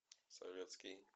советский